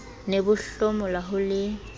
ne bo hlomola ho le